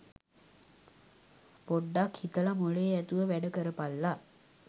පොඩ්ඩ්ක් හිතලා මොලේ ඇතිව වැඩ කරපල්ලා.